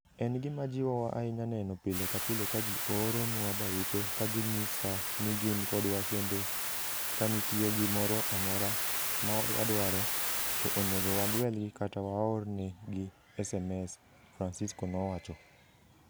En gima jiwowa ahinya neno pile ka pile ka ji oorona barupe ka ginyisa ni gin kodwa kendo ni ka nitie gimoro amora ma wadwaro, to onego wagwelgi kata waornegi sms, Francisco nowacho.